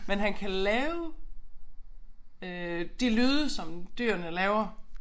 Men han kan lave øh de lyde som dyrene laver